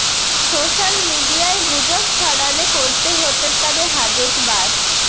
social মিডিয়ায় গুজব ছড়ালে করতে হতে পারে হাজত বাস